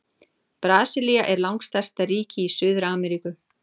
Brasilía er langstærsta ríki í Suður-Ameríku.